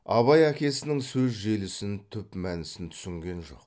абай әкесінің сөз желісін түп мәнісін түсінген жоқ